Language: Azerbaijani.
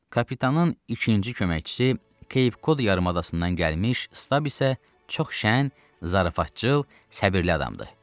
Kapitanın ikinci köməkçisi Keypkod yarımadasından gəlmiş stab isə çox şən, zarafatcıl, səbirli adamdır.